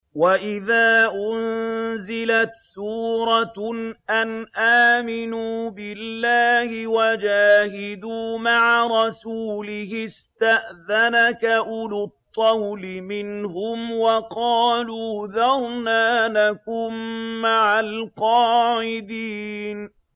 وَإِذَا أُنزِلَتْ سُورَةٌ أَنْ آمِنُوا بِاللَّهِ وَجَاهِدُوا مَعَ رَسُولِهِ اسْتَأْذَنَكَ أُولُو الطَّوْلِ مِنْهُمْ وَقَالُوا ذَرْنَا نَكُن مَّعَ الْقَاعِدِينَ